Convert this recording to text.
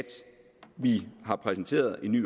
vi har præsenteret en ny